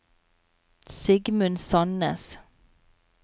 Sigmund Sannes